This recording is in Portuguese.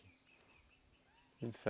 Vinte e